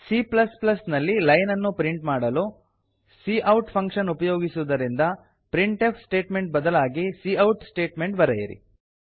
C ನಲ್ಲಿ line ಅನ್ನು print ಮಾಡಲು ಕೌಟ್ ಫಂಕ್ಷನ್ ಉಪಯೋಗಿಸುವುದರಿಂದ ಪ್ರಿಂಟ್ಫ್ ಸ್ಟೇಟ್ಮೆಂಟ್ ಬದಲಾಗಿ ಕೌಟ್ ಸ್ಟೇಟ್ಮೆಂಟ್ ಬರೆಯಿರಿ